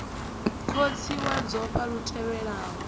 khotsi wa dzofha lu tendelaho